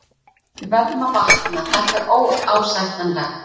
Við verðum að vakna, þetta er óásættanlegt.